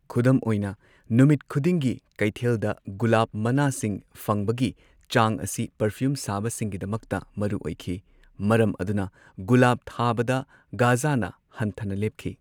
ꯈꯨꯗꯝ ꯑꯣꯏꯅ, ꯅꯨꯃꯤꯠ ꯈꯨꯗꯤꯡꯒꯤ ꯀꯩꯊꯦꯜꯗ ꯒꯨꯂꯥꯞ ꯃꯅꯥꯁꯤꯡ ꯐꯪꯕꯒꯤ ꯆꯥꯡ ꯑꯁꯤ ꯄꯔꯐ꯭ꯌꯨꯝ ꯁꯥꯕꯁꯤꯡꯒꯤꯗꯃꯛꯇ ꯃꯔꯨ ꯑꯣꯏꯈꯤ, ꯃꯔꯝ ꯑꯗꯨꯅ ꯒꯨꯂꯥꯞ ꯊꯥꯕꯗ ꯘꯖꯅ ꯍꯟꯊꯅ ꯂꯦꯞꯈꯤ꯫